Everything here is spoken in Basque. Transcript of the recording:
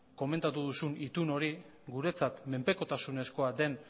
komentatu duzun itun hori guretzat menpekotasunezkoa den